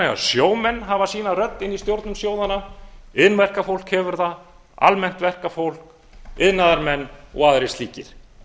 að sjómenn hafa sína rödd í stjórnum sjóðanna iðnverkafólk hefur það almennt verkafólk iðnaðarmenn og aðrir slíkir